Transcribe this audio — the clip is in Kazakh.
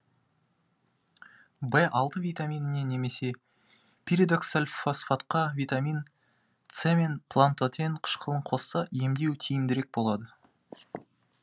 в алты витаминіне немесе пиридоксальфосфатқа витамин с мен пантотен қышқылын қосса емдеу тиімдірек болады